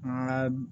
An ka